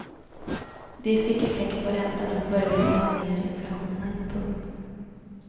De fick effekt på räntan och började ta ner inflationen. punkt